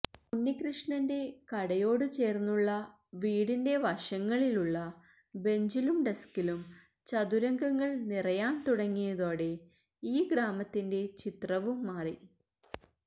ഉണ്ണികൃഷ്ണന്റെ കടയോട് ചേര്ന്നുള്ള വീടിന്റെ വശങ്ങളില് ഉള്ള ബെഞ്ചിലും ഡെസ്കിലും ചതുരംഗകളങ്ങള് നിറയാന് തുടങ്ങിയതോടെ ഈ ഗ്രാമത്തിന്റെ ചിത്രവും മാറി